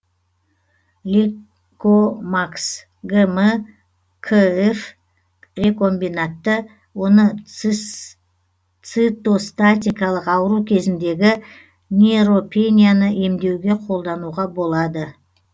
лейкомакс гм кыф рекомбинантты оны цитостатикалық ауру кезіндегі нейтропенияны емдеуге қолдануға болады